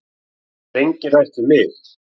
Það hefur enginn rætt við mig